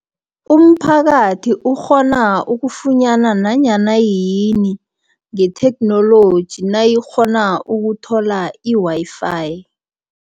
Umphakathi ukghona ukufunyana nanyana yini, ngetheknoloji nayikghona ukuthola i-Wi-Fi.